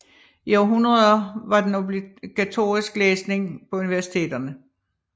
I århundreder var den obligatorisk læsning på universiteterne